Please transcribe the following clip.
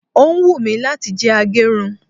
o wùnmi lati jẹ agerun